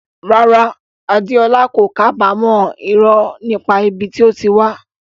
Rárá, Adeola kò kábàámọ̀ irọ́ nípa ibi tí ó wà.